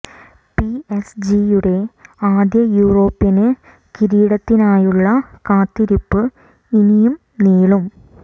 P S ജിയുടെ ആദ്യ European കിരീടത്തിനായുള്ള കാത്തിരിപ്പ് ഇനിയും നീളും